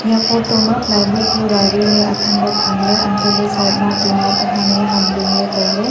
eya photo ma ply board athanley thamley untohley side ma tina tohang ye ham ringley tailey.